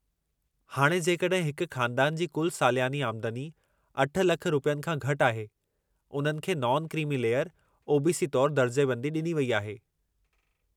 हाणे, जेकॾहिं हिक ख़ानदान जे कुलु सालियानी आमदनी 8 लख रुपयनि खां घटि आहे, उन्हनि खे नॉन क्रीमी लेयर ओ.बी.सी. तौरु दर्जेबंदी डि॒नी वई आहे।